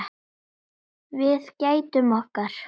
Við gætum okkar.